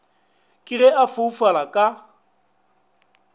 ke ge a foufala ka